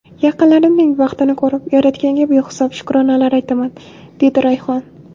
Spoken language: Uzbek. Yaqinlarimning baxtini ko‘rib, Yaratganga behisob shukronalar aytaman”, dedi Rayhon.